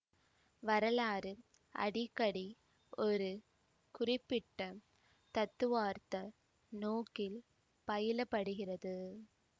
வரலாறு அடிக்கடி ஒரு குறிப்பிட்ட தத்துவார்த்த நோக்கில் பயிலப்படுகிறது